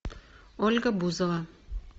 ольга бузова